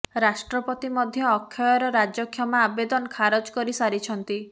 ରାଷ୍ଟ୍ରପତି ମଧ୍ୟ ଅକ୍ଷୟର ରାଜକ୍ଷମା ଆବେଦନ ଖାରଜ କରି ସାରିଛନ୍ତି